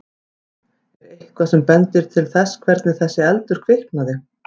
Þórir: Er eitthvað sem bendir til þess hvernig þessi eldur kviknaði?